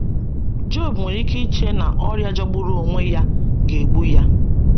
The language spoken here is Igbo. Job nwere ike iche na ọrịa jọgburu onwe ya ga-egbu ya.